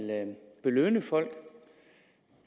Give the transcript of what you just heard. belønne folk